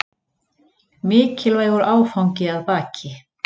Mikilvægur áfangi að baki